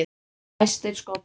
Fæstir skollar